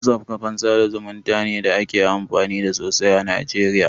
WhatsApp kafan sa da zumunta ne da ake amfani da sosai a Najeriya.